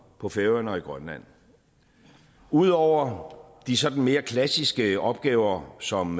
på færøerne og i grønland ud over de sådan mere klassiske opgaver som